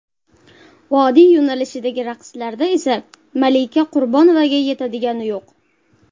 Vodiy yo‘nalishidagi raqslarda esa Malika Qurbonovaga yetadigani yo‘q.